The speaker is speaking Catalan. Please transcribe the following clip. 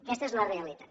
aquesta és la realitat